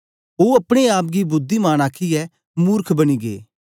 ओ अपने आप गी बुद्धिमान आखीयै मुर्ख बनी गै